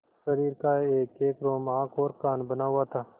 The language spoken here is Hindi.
शरीर का एकएक रोम आँख और कान बना हुआ था